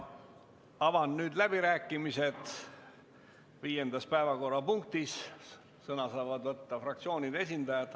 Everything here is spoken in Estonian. Avan nüüd läbirääkimised viiendas päevakorrapunktis, sõna saavad võtta fraktsioonide esindajad.